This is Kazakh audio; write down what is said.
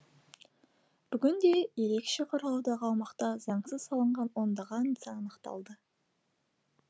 бүгінде ерекше қорғаудағы аумақта заңсыз салынған ондаған нысан анықталды